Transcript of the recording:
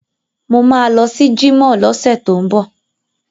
Mo ma lọ sí jímọ̀ lọ́sẹ̀ tó ń bọ̀